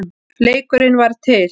Leikurinn varð til.